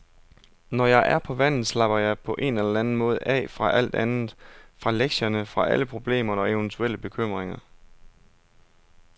Når jeg er på vandet, slapper jeg på en eller anden måde af fra alt andet, fra lektierne, fra alle problemer og eventuelle bekymringer.